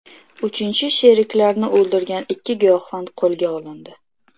Uchinchi sheriklarini o‘ldirgan ikki giyohvand qo‘lga olindi.